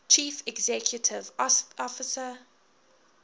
chief executive officer